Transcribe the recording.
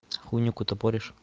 хуйню какую-то поришь